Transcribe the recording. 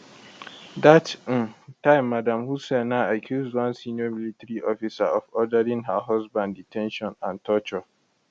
dat um time madam hussaina accuse one senior military officer of ordering her husband de ten tion and torture